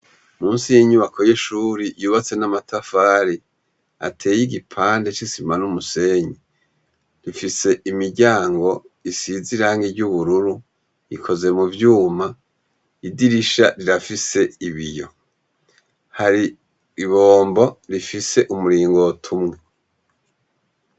Musi y'inyubako y'ishuri yubatse n'amatafari ateye igipande c'isima n'umusenyi, ifise imiryango isize irangi ry'ubururu , ikoze mu vyuma, idirisha rirafise ibiyo, hari ibombo rifise umuringoti umwe.